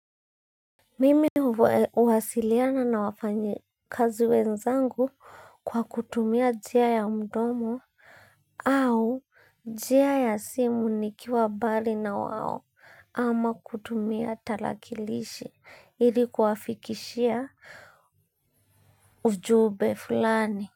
Mimi huwasiliana na wafanya kazi wenzangu kwa kutumia njia ya mdomo au njia ya simu nikiwa mbali na wao ama kutumia talakilishi ilikuwafikishia ujumbe fulani.